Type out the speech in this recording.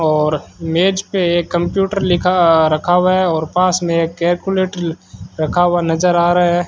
और मेज पे एक कंप्यूटर लिखा रखा हुआ है और पास में एक कैलकुलेटर रखा हुआ नजर आ रहा है।